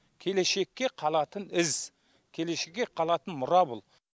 келешекке қалатын із келешекке қалатын мұра бұл